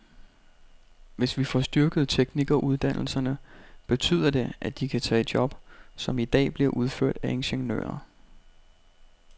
Hvis vi får styrket teknikeruddannelserne, betyder det, at de kan tage job, som i dag bliver udført af ingeniører.